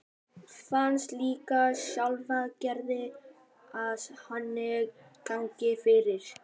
Fannst líka sjálfgefið að Nonni gengi fyrir.